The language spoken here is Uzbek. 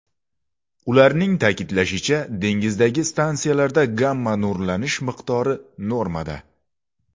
Ularning ta’kidlashicha, dengizdagi stansiyalarda gamma-nurlanish miqdori normada.